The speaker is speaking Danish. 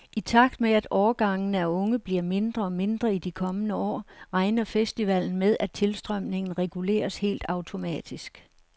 I takt med at årgangene af unge bliver mindre og mindre i de kommende år, regner festivalen med, at tilstrømningen reguleres helt automatisk.